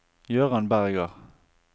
Jøran Berger